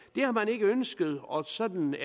det har man ikke ønsket og sådan